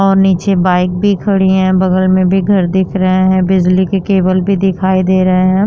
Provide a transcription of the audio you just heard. और नीचे बाइक भी खड़ी हैं। बगल में भी घर दिख रहा है। बिजली के केबल भी दिखाई दे रहे हैं।